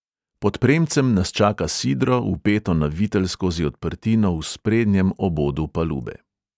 Pod premcem nas čaka sidro, vpeto na vitel skozi odprtino v sprednjem obodu palube.